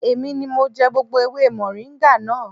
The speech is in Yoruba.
Èmi ni mo jẹ gbogbo ewé mọ̀ríńgà náà